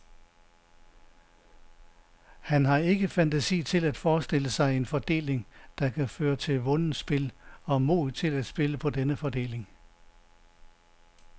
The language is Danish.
Han har ikke fantasi til at forestille sig en fordeling, der kan føre til vundet spil, og mod til at spille på denne fordeling.